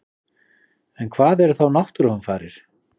En hvað eru þá náttúruhamfarir?